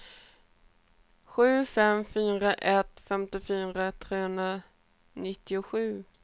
sju fem fyra ett femtiofyra trehundranittiosju